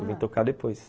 Eu vim tocar depois.